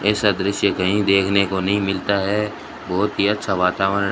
ऐसा दृश्य कहीं देखने को नहीं मिलता है बहुत ही अच्छा वातावरण--